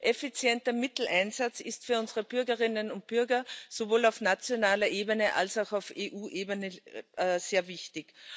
Effizienter Mitteleinsatz ist für unsere Bürgerinnen und Bürger sowohl auf nationaler Ebene als auch auf EU Ebene sehr wichtig.